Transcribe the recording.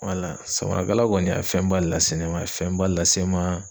Wala samarakala kɔni a ye fɛnba lase ne ma a fɛnba lase n ma.